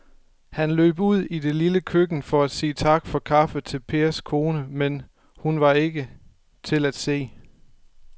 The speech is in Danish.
Han løb ud i det lille køkken for at sige tak for kaffe til Pers kone, men hun var ikke til at se.